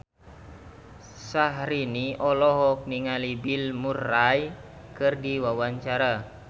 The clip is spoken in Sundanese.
Syahrini olohok ningali Bill Murray keur diwawancara